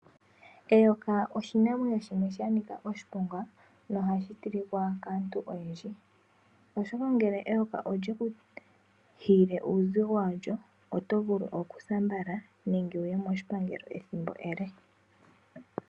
Eyoka oshinamwenyo shono shanika oshiponga nohashi tilika kaantu oyedhi . Eyoka ngele olyeku hiile uuzigo walyo otovulu okusa mbala nenge wuye moshipangelo ethimbo ele.